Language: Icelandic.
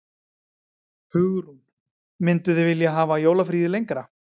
Hugrún: Mynduð þið vilja hafa jólafríið lengra?